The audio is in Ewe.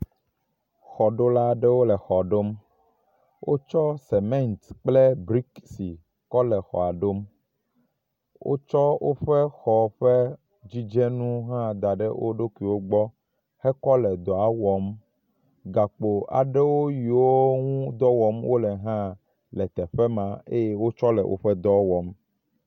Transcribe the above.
Xɔɖola aɖewo le xɔ ɖom, wotsɔ semɛnt kple brikisi kɔ le xɔa ɖom. Wotsɔ woƒe xɔ ƒe dzidzenuwo hã da ɖe wo ɖokuiwo gbɔ hekɔ le dɔa wɔm. gakpo aɖewo yiwo ŋu dɔ wɔm wole hã le teƒe ma eye wotsɔ le woƒe dɔ wɔm.